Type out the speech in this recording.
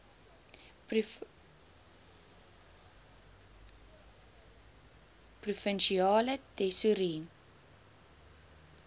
provinsiale tesourie